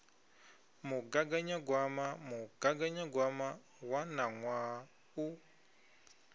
mugaganyagwama mugaganyagwama wa ṋaṅwaha u